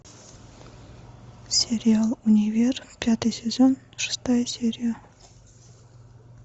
сериал универ пятый сезон шестая серия